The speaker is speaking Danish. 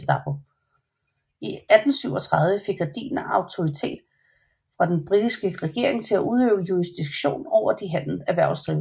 I 1837 fik Gardiner autoritet fra den britiske regering til at udøve jurisdiktion over de erhvervsdrivende